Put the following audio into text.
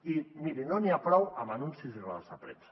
i miri no n’hi ha prou amb anuncis i rodes de premsa